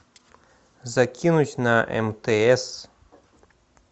закинуть на мтс